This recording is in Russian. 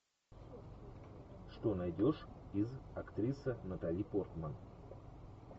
что найдешь из актриса натали портман